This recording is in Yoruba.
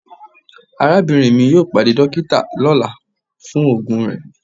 Arabinrin mi yoo pade dokita ni ọla fun oogun rẹ